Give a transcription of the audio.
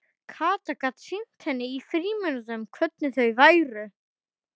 Kata gat sýnt henni í frímínútunum hvernig þau væru.